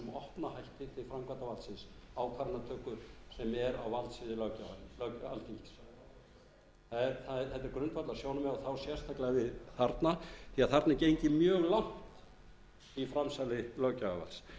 alþingis þetta er grundvallarsjónarmið og það á sérstaklega við þarna því þarna er gengið mjög langt í framsali löggjafarvalds